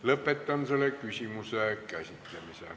Lõpetan selle arupärimise käsitlemise.